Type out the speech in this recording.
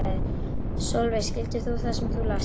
Sólveig: Skildir þú það sem þú last?